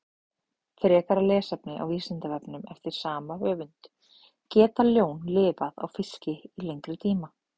Frekara lesefni á Vísindavefnum eftir sama höfund: Geta ljón lifað á fiski í lengri tíma?